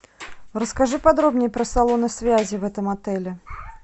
расскажи подробнее про салоны связи в этом отеле